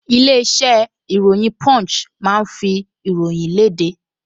Ilé-iṣẹ́ ìròyìn Punch máa ń fi ìròyìn léde